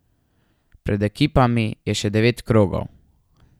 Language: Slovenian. Pred ekipami je še devet krogov.